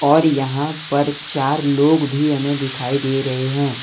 और यहां पर चार लोग भी हमें दिखाई दे रहे हैं।